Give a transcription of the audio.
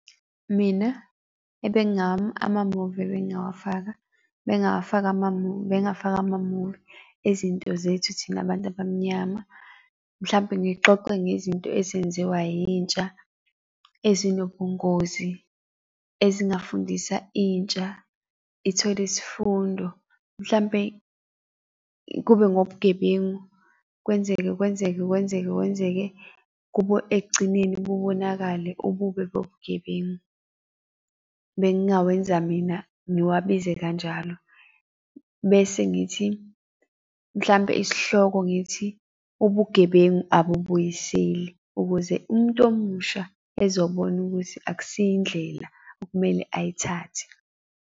Mina amamuvi ebengingawafaka bengafaka amamuvi, bengafaka amamuvi ezinto zethu thina abantu abamnyama, mhlampe ngixoxe ngezinto ezenziwa yintsha ezinobungozi ezingafundisa intsha ithole isifundo mhlampe kube ngobugebengu kwenzeke, kwenzeke, kwenzeke, kwenzeke kubo ekugcineni kubonakale ububi bobugebengu. Bengingakwenza mina ngiwabize kanjalo bese ngithi, mhlampe isihloko ngithi, ubugebengu abubuyiseli, ukuze umuntu omusha ezobona ukuthi akusiyo indlela okumele ayithathe.